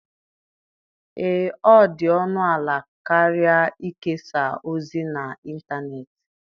Ee, ọ dị ọnụ ala karịa ikesa ozi n'ịntanetị.